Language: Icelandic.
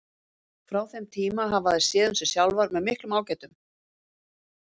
Frá þeim tíma hafa þær séð um sig sjálfar með miklum ágætum.